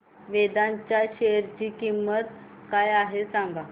वेदांत च्या शेअर ची किंमत काय आहे सांगा